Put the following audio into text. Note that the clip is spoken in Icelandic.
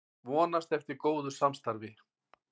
Vonast eftir góðu samstarfi